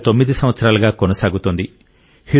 గత 9 సంవత్సరాలుగా కొనసాగుతోంది